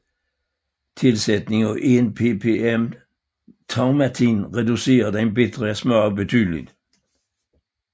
Tilsætning af 1 ppm thaumatin reducerer den bitre smag betydeligt